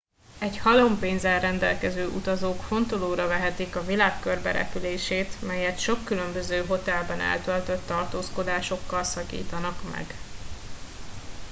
egy halom pénzzel rendelkező utazók fontolóra vehetik a világ körberepülését melyet sok különböző hotelben eltöltött tartózkodásokkal szakítanak meg